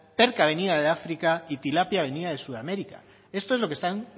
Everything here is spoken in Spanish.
perca venida de áfrica y tilapia venida de sudamérica esto es lo que están